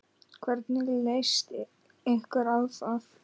Hvernig leyst ykkur á það?